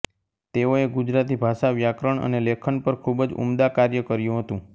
તેઓએ ગુજરાતી ભાષા વ્યાકરણ અને લેખન પર ખુબજ ઉમદા કાર્ય કર્યુ હતું